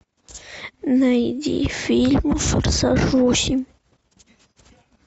найди фильм форсаж восемь